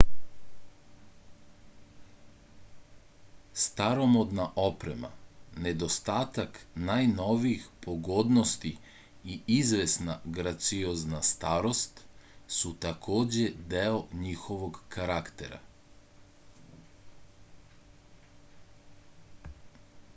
staromodna oprema nedostatak najnovijih pogodnosti i izvesna graciozna starost su takođe deo njihovog karaktera